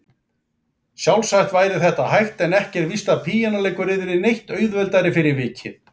Sjálfsagt væri þetta hægt en ekki er víst að píanóleikur yrði neitt auðveldari fyrir vikið.